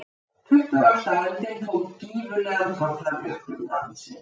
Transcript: tuttugasta öldin tók gífurlegan toll af jöklum landsins